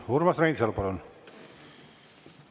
Urmas Reinsalu, palun!